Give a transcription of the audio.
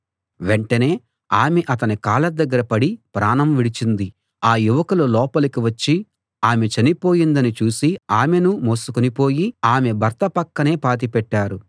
వెంటనే ఆమె అతని కాళ్ళ దగ్గర పడి ప్రాణం విడిచింది ఆ యువకులు లోపలికి వచ్చి ఆమె చనిపోయిందని చూసి ఆమెనూ మోసికొనిపోయి ఆమె భర్త పక్కనే పాతిపెట్టారు